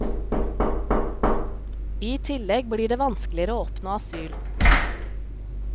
I tillegg blir det vanskeligere å oppnå asyl.